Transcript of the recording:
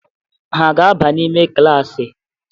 Ha aga-aba n'ime klaasị?